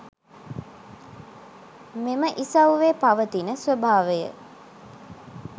මෙම ඉසව්වේ පවතින ස්වභාවය